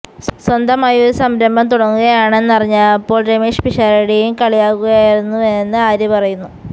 സ്വന്തമായി ഒരു സംരംഭം തുടങ്ങുകയാണെന്നറിഞ്ഞപ്പോള് രമേഷ് പിഷാരടിയും കളിയാക്കിയിരുന്നുവെന്ന് ആര്യ പറയുന്നു